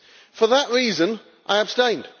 For that reason I abstained.